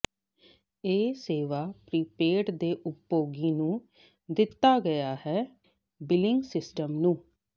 ਇਹ ਸੇਵਾ ਪ੍ਰੀਪੇਡ ਦੇ ਉਪਭੋਗੀ ਨੂੰ ਦਿੱਤਾ ਗਿਆ ਹੈ ਬਿਲਿੰਗ ਸਿਸਟਮ ਨੂੰ